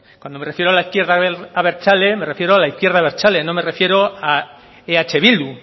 cuando me refiero a la izquierda abertzale me refiero a la izquierda abertzale no me refiero a eh bildu